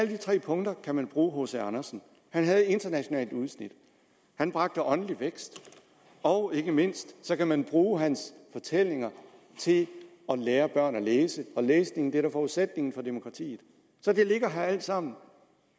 de tre punkter kan man bruge hc andersen han havde internationalt udsyn han bragte åndelig vækst og ikke mindst kan man bruge hans fortællinger til at lære børn at læse og læsning er da forudsætningen for demokratiet så det ligger her alt sammen